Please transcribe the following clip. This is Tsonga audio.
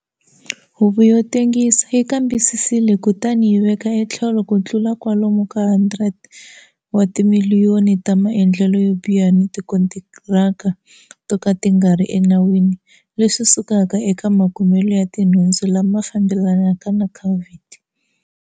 Huvo yo tengisa yi kambisisile kutani yi veka etlhelo ku tlula kwalomu ka R100 wa timiliyoni ta maendlelo yo biha ni tikontiraka to ka ti nga ri enawini leswi sukaka eka makumelo ya tinhundzu lama fambelanaka na Covid.